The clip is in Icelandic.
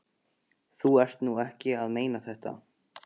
Þú ert nú ekki að meina þetta!